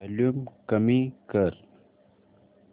volume कमी कर